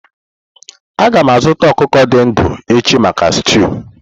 A ga m azụta ọkụkọ dị ndụ echi maka stúu.